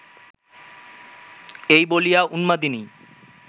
এই বলিয়া উন্মাদিনী